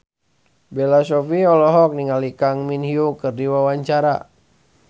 Bella Shofie olohok ningali Kang Min Hyuk keur diwawancara